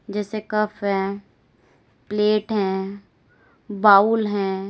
जैसे कप है प्लेट है बाउल है।